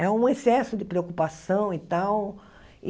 É um excesso de preocupação e tal.